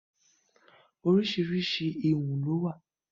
Orísirísi ìwun ló wà.